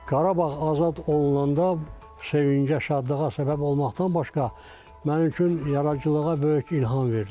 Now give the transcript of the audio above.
Qarabağ azad olunanda sevincə, şadlığa səbəb olmaqdan başqa mənim üçün yaradıcılığa böyük ilham verdi.